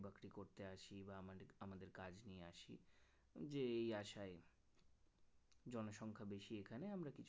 করতে আসি বা আমাদের আমাদের কাজ নিয়ে আসি যে এই আশায় জনসংখ্যা বেশি এখানে আমরা কিছু